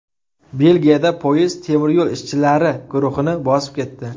Belgiyada poyezd temir yo‘l ishchilari guruhini bosib ketdi.